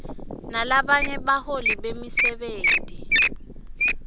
nalabanye baholi bemisebenti